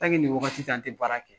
ni waagati tɛ an tɛ baara kɛ